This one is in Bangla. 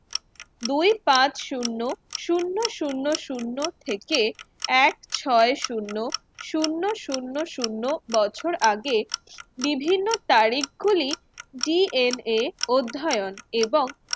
দুই পাঁচ শূন্য শূন্য শূন্য শূন্য থেকে এক ছয় শূন্য শূন্য শূন্য শূন্য বছর আগে বিভিন্ন তারিখ গুলি DNA অধ্যয়ন এবং